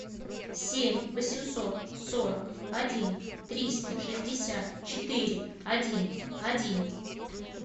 семь восемьсот сорок один триста шестьдесят четыре один один